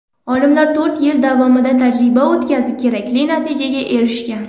Olimlar to‘rt yil davomida tajriba o‘tkazib, kerakli natijaga erishgan.